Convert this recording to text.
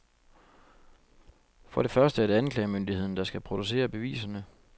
For det første er det anklagemyndigheden, der skal producere beviserne.